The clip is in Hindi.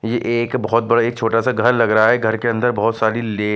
ये एक बहुत बड़ा एक छोटासा घर लग रहा है घर के अंदर बहुत सारी ले--